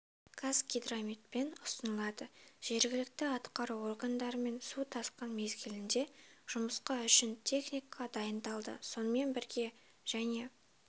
казгидрометпен ұсынылады жергілікті атқару органдарымен су тасқын мезгілде жұмысқа үшін техника дайындалды сонымен бірге және